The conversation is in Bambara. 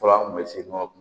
Fɔlɔ an kun bɛ se nɔkɔ